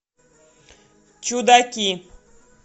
чудаки